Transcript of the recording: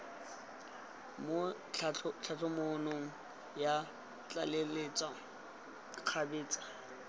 mo tlhatlhamanong ya tlaleletso kgabetsa